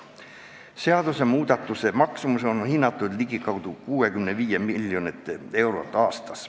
Seaduse muutmise kuluks on hinnatud ligikaudu 65 miljonit eurot aastas.